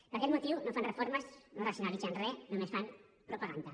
per aquest motiu no fan reformes no racionalitzen re només fan propaganda